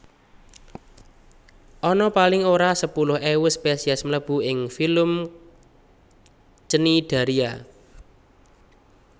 Ana paling ora sepuluh ewu spesies melbu ing filum Cnidaria